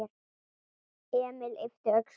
Emil yppti öxlum.